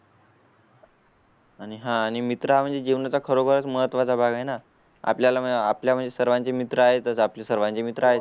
आणि हां आणि मित्र म्हणजे जीवनाचा खरोखरच महत्त्वा चा भाग आहे ना आपल्या ला आपल्या सर्वांची मित्र आहेत. आपले सर्वांचे मित्र आहे.